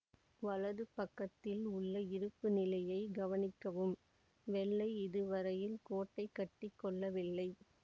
வலது பக்கத்தில் உள்ள இருப்புநிலையை கவனிக்கவும் வெள்ளை இதுவரையில் கோட்டை கட்டி கொள்ளவில்லை